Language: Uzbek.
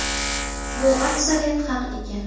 Bu aksariyat haq ekan.